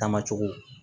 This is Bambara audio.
Dama cogo